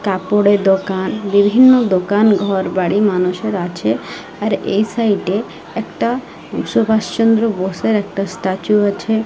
কাপড়ের দোকান বিভিন্ন দোকান ঘরবাড়ি মানুষের আছে আর এই সাইড -এ একটা সুভাষচন্দ্র বোসের একটা স্ট্যাচু আছে।